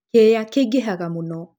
kĩĩya kĩingĩha mũno